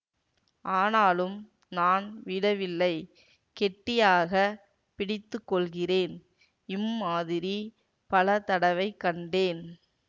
ஆனாலும் நான் விடவில்லை கெட்டியாக பிடித்து கொள்கிறேன் இம்மாதிரி பல தடவைக் கண்டேன்